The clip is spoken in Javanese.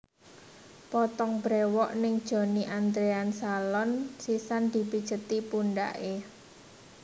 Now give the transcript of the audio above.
Potong brewok ning Johnny Andrean Salon sisan dipijeti pundhake